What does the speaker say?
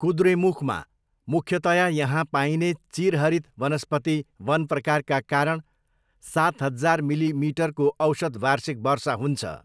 कुद्रेमुखमा, मुख्यतया यहाँ पाइने चिरहरित वनस्पति वन प्रकारका कारण सात हजार मिलिमिटरको औसत वार्षिक वर्षा हुन्छ।